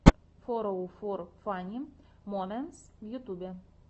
фороуфор фанни моментс в ютьюбе